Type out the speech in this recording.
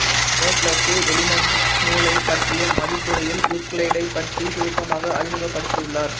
Proclus Elements நுாலைப் பற்றிய மதிப்புரையில் யூக்ளிடைப் பற்றி சுருக்கமாக அறிமுகப்படுத்தியுள்ளார்